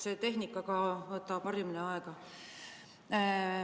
Selle tehnikaga harjumine võtab aega.